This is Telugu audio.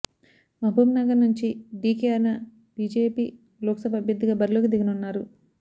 మహబూబ్నగర్ నుంచి డీకే అరుణ బీజేపీ లోక్సభ అభ్యర్థిగా బరిలోకి దిగనున్నారు